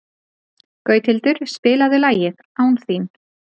Gauthildur, spilaðu lagið „Án þín“.